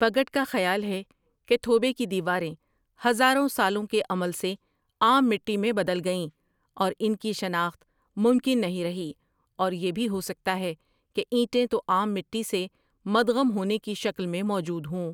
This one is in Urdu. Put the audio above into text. پگٹ کا خیال ہے کہ تھوبے کی دیواریں ہزاروں سالوں کے عمل سے عام مٹی میں بدل گئیں اور ان کی شناخت ممکن نہیں رہی اور یہ بھی ہو سکتا ہے کہ اینٹیں تو عام مٹی سے مدغم ہونے کی شکل میں موجود ہوں